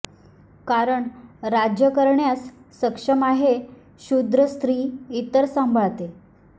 कारण राज्य करण्यास सक्षम आहे क्षुद्र स्त्री इतर सांभाळते